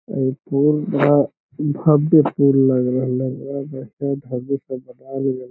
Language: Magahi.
इ पुल यहां भव्य पुल लग रहले ये वैसे भव्य से बनाएल गले ।